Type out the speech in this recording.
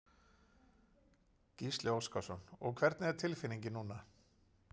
Gísli Óskarsson: Og hvernig er tilfinningin núna?